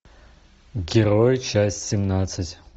герои часть семнадцать